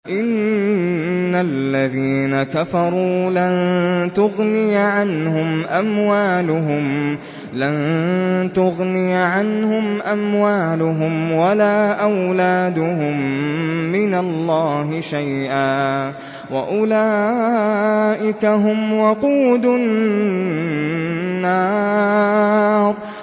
إِنَّ الَّذِينَ كَفَرُوا لَن تُغْنِيَ عَنْهُمْ أَمْوَالُهُمْ وَلَا أَوْلَادُهُم مِّنَ اللَّهِ شَيْئًا ۖ وَأُولَٰئِكَ هُمْ وَقُودُ النَّارِ